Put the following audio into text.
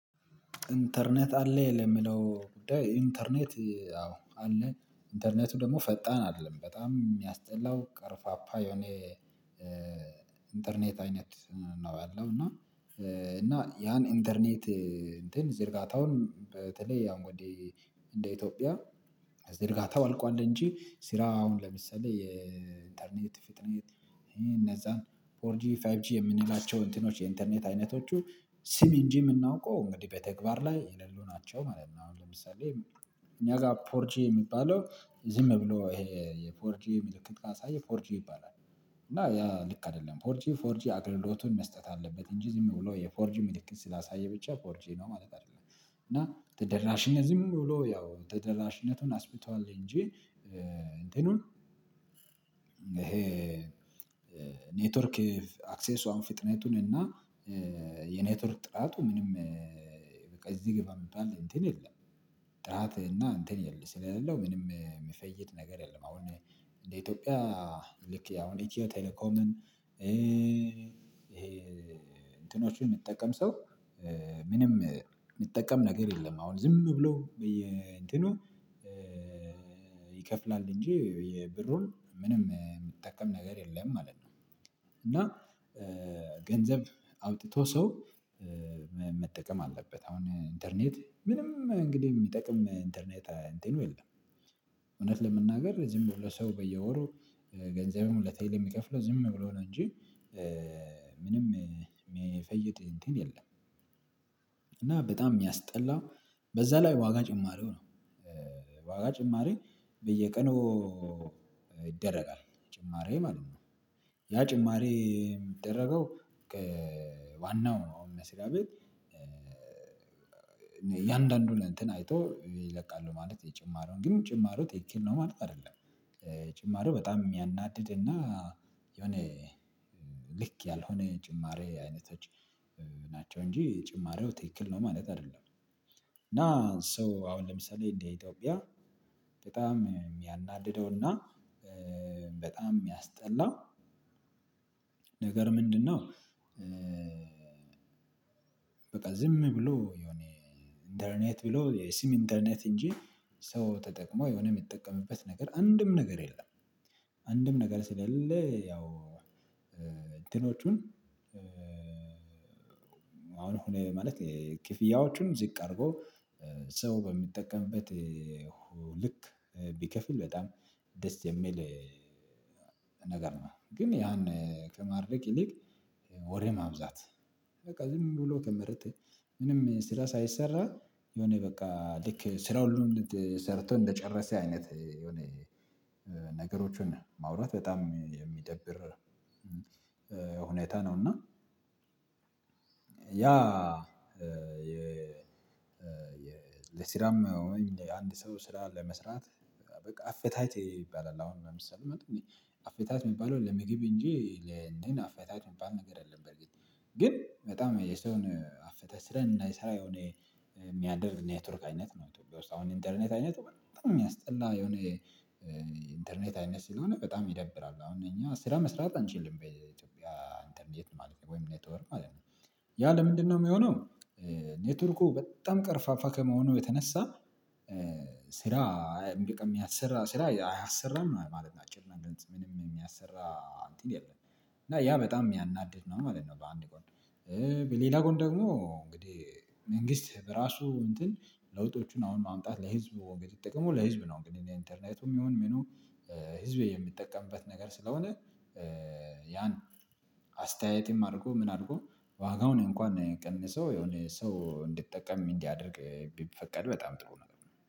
ኢንተርኔት አለ ለሚለው ኢንተርኔት አዎ አለ ኢንተርኔቱ ደግሞ ፈጣን አይደለም በጣም የሚያስጠላው ቀርፋፓ የሆነ ኢንተርኔት አይነት ነው። ያለው እና እና ያን ኢንተርኔት እንትን ዝርጋታውን በተለይ አሁን ወደ እንደ ኢትዮጵያ ዝርጋታው አልቋል እንጂ ስራ አሁን ለምሳሌ የኢንተርኔት ፊጥኔት እነዛን ፎር ጂ ፋይብ ጂ የምንላቸው እንትኖች የኢንተርኔት አይነቶቹ ስም እንጂ የምናውቀው እንግዲህ በተግባር ላይ የሌሉ ናቸው ማለት ነው። አሁን ለምሳሌ እኛ ጋር ፎርጂ የሚባለው ዝም ብሎ ይሄ የፎርጂ ምልክት ካሳየ ፎርጂ ይባላል። እና ያ ልክ አይደለም ፎርጂ ፎርጂ አገልግሎቱን መስጠት አለበት እንጂ ዝም ብሎ የፎርጂ ምልክት ስላሳየ ብቻ ፎርጂ ነው ማለት አይደለም። እና ተደራሽነት ዝም ብሎ ያው ተደራሽነቱን አስፍቷል እንጂ። እንትኑን ይሄ ኔትወርክ አክሰሱ አሁነ ፍጥነቱን እና የኔትወርክ ጥራቱ ምንም በቃ እዚህ ገባ ሚባል እንትን የለም። ጥራት እና እንትን የለም ስለሌለው ምንም የምፈይድ ነገር የለም። አሁን እንደ ኢትዮጵያ ልክ አሁን ኢትዮ ቴሌኮምን ይሄ እንትኖቹን የምጠቀም ሰው ምንም የምጠቀም ነገር የለም አሁን ዝም ብሎ በየ እንትኑ ይከፍላል እንጂ የብሩን ምንም የምጠቀም ነገር የለም ማለት ነው። እና ገንዘብ አውጥቶ ሰው መጠቀም አለበት አሁን ኢንተርኔት ምንም እንግዲህ የሚጠቅም ኢንተርኔት አንትኑ የለም። እውነት ለመናገር ዝም ብሎ ሰው በየወሩ ገንዘብም ለቴሌ የሚከፍለው ዝም ብሎ ነው እንጂ። ምንም የሚፈይድ እንትን የለም። እና በጣም የሚያስጠላ በዛ ላይ ዋጋ ጭማሪው ነው። ዋጋ ጭማሪ በየቀኑ ይደረጋል ጭማሪ ማለት ነው። ያ ጭማሪ የሚደረገው አሁን መስሪያቤት እያንዳንዱን እንትን አይቶ ይለቃሉ ማለት የጭማሪውን ግን ጭማሪው ትክክል ነው ማለት አይደለም። ጭማሬው በጣም የሚያናድድ እና የሆነ ልክ ያልሆነ ጭማሪ አይነቶች ናቸው። እንጂ ጭማሪው ትክክል ነው ማለት አይደለም። እና ሰው አሁን ለምሳሌ እንደ ኢትዮጵያ በጣም የሚያናድደውና በጣም የሚያስጠላው ነገር ምንድነው? በቃ ዝም ብሎ የሆነ ኢንተርኔት ብሎ የስም ኢንተርኔት እንጂ ሰው ተጠቅሞ የሆነ የሚጠቀምበት ነገር አንድም ነገር የለም። አንድም ነገር ስለሌለ ያው እንትኖቹን አሁን ማለት ክፍያዎቹን ዝቅ አድርጎ ሰው በሚጠቀምበት ልክ ቢከፍል በጣም ደስ የሚል ነገር ነው። ግን ያን ከማድረግ ይልቅ ወሬ ማብዛት በቃ ዝም ብሎ ከመሬት ምንም ስራ ሳይሰራ የሆነ በቃ ልክ ስራውን ሰርቶ እንደጨረሰ አይነት የሆነ ነገሮችን ማውራት በጣም የሚደብር። ሁኔታ ነው። እና ያ የለስራም ወይ አንድ ሰው ስራ ለመስራት በቃ አፈታት ይባላል። አሁን ለምሳሌ አፍታት የሚባለው ለምግብ እንጂ ለእንትነ አፍታት የሚባል ነገር የለም። በእርግጥ ግን በጣም የሰውን አፈተ ስራን እንዳይሰራ የሆነ የሚያደርግ ኔትወርክ አይነት ነው። ኢትዮጵያ ውስጥ አሁን ኢንተርኔት አይነት በጣም የሚያስጠላ የሆነ ኢንተርኔት አይነት ስለሆነ በጣም ይደብራል። አሁን እኛ ስራ መስራት አንችልም በኢትዮጵያ ኢንተርኔት ማለት ነው። ወይም ኔትወር ማለት ነው። ያ ለምንድነው የሚሆነው? ኔትወርኩ በጣም ቀርፋፋ ከመሆኑ የተነሳ ስራ እምቢቀም የሚያሰራ ስራ አያሰራም ማለታችን ነው ምንም የሚያሰራ እንትን የለም። እና ያ በጣም የሚያናድድ ነው ማለት ነው። በአንድ ጎን በሌላ ጎን ደግሞ እንግዲህ መንግስት በራሱ እንትን ለውጦቹን አሁን ማምጣት ጥቅሙ ለህዝብ ነው። እንግዲህ ኢንተርኔቱም ይሁን ምኑ ህዝብ የሚጠቀምበት ነገር ስለሆነ ያን አስተያየትም አድርጎ ምን አድርጎ ዋጋውን እንኳን ቀንሶ የሆነ ሰው እንድትጠቀም እንዲያደርግ ቢፈቀድ በጣም ጥሩ ነገር ነው።